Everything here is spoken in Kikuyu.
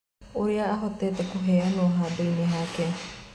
ũrĩa ahotete kũheanwo handũinĩ hake.